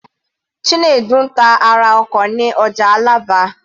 Chinedu ń ta ara ọkọ̀ ní ọjà Alaba.